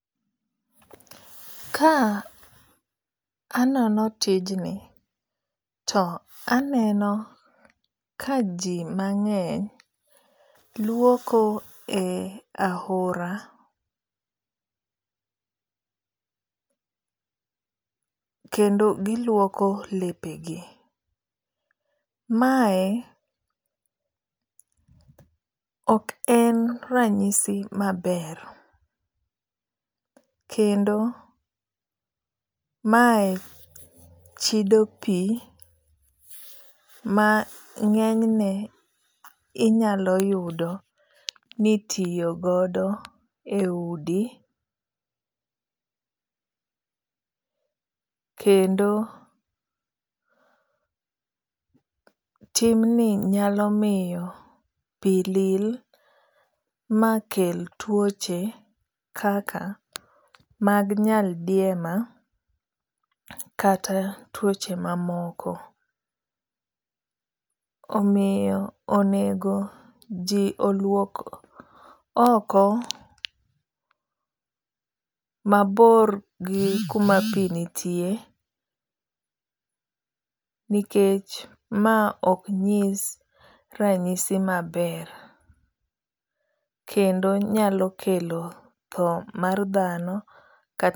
Ka anono tijni to aneno ka ji mang'eny luoko e ahora kendo giluoko lepe gi. Mae ok en ranyisi maber. Kendo mae chido pi ma ng'enyne inyalo yudo nitiyogodo e udi. Kendo timni nyalo miyo pi lil ma kel tuoche kaka mag nyaldiema kata tuoche mamoko. Omiyo onego ji oluok oko mabor gi kuma pi nitie nikech ma ok nyis ranyisi maber kendo nyalo kelo tho mar dhano.